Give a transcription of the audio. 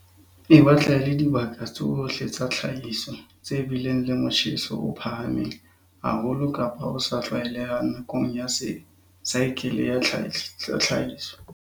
E batla e le dibaka tsohle tsa tlhahiso tse bileng le motjheso o phahameng haholo kapa o sa tlwaelehang nakong ya saekele ya tlhahiso.